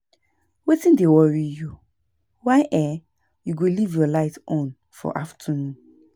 Wetin dey worry you? Why um you go live your light on for afternoon